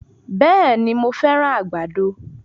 Bẹ̀ẹ̀ni, mo fẹ́ràn àgbàdo.